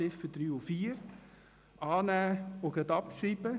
Zu den Ziffern 3 und 4: annehmen und gleich abschreiben.